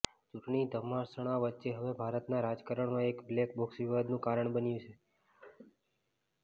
ચૂંટણી ઘમાસાણ વચ્ચે હવે ભારતના રાજકારણમાં એક બ્લેક બોક્સ વિવાદનું કારણ બન્યું છે